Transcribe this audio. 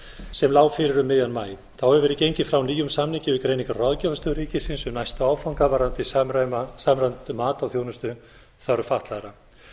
sem lá fyrir um miðjan maí þá hefur verið gengið frá nýjum samningi við greiningar og ráðgjafarstöð ríkisins um næsta áfanga varðandi samræmt mat á þjónustuþörf fatlaðra